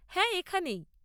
হ্যাঁ, এখানেই।